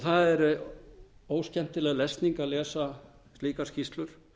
það er óskemmtileg lesning að lesa slakað skýrslur